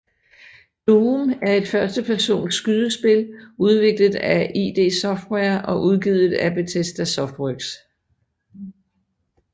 Doom er et førstepersons skydespil udviklet af id Software og udgivet af Bethesda Softworks